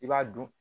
I b'a dun